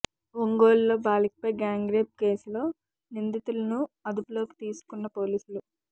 ఒంగోలులో బాలికపై gang rape కేసులో నిందితులను అదుపులోకి తీసుకున్న పోలీసులు